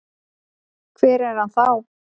Hver er hann þá?